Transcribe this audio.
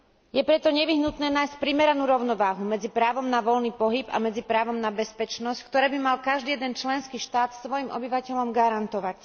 Je preto nevyhnutné nájsť primeranú rovnováhu medzi právom na voľný pohyb a právom na bezpečnosť, ktoré by mal každý jeden členský štát svojim obyvateľom garantovať.